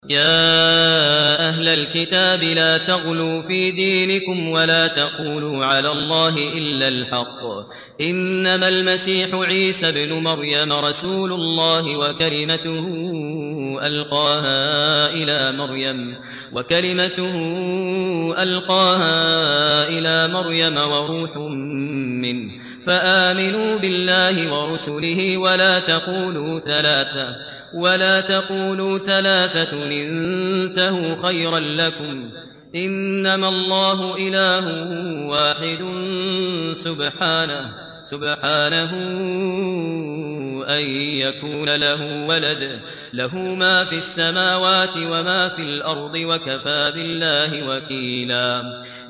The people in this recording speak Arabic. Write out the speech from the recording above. يَا أَهْلَ الْكِتَابِ لَا تَغْلُوا فِي دِينِكُمْ وَلَا تَقُولُوا عَلَى اللَّهِ إِلَّا الْحَقَّ ۚ إِنَّمَا الْمَسِيحُ عِيسَى ابْنُ مَرْيَمَ رَسُولُ اللَّهِ وَكَلِمَتُهُ أَلْقَاهَا إِلَىٰ مَرْيَمَ وَرُوحٌ مِّنْهُ ۖ فَآمِنُوا بِاللَّهِ وَرُسُلِهِ ۖ وَلَا تَقُولُوا ثَلَاثَةٌ ۚ انتَهُوا خَيْرًا لَّكُمْ ۚ إِنَّمَا اللَّهُ إِلَٰهٌ وَاحِدٌ ۖ سُبْحَانَهُ أَن يَكُونَ لَهُ وَلَدٌ ۘ لَّهُ مَا فِي السَّمَاوَاتِ وَمَا فِي الْأَرْضِ ۗ وَكَفَىٰ بِاللَّهِ وَكِيلًا